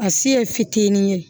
A se ye fitinin ye